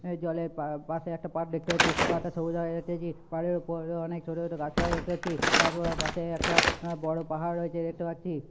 অ্যা জলের পা--পাশে একটি পাড় দেখতে পাচ্ছি পাড়টা সবুজ রঙের দেখতে পাচ্ছি পাড়ের ওপর অনেক ছোটছোট গাছপালা দেখতে পাচ্ছি গাছপালার পাশে একটা অ্যাঁ বড় পাহাড় রয়েছে দেখতে পাচ্ছি।